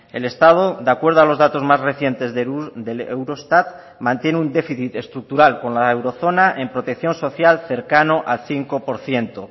el estado de acuerdo a los datos más recientes del eurostat mantiene un déficit estructural con la eurozona en protección social cercano al cinco por ciento